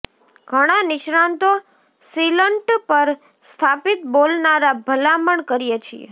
ઘણા નિષ્ણાતો સીલંટ પર સ્થાપિત બોલનારા ભલામણ કરીએ છીએ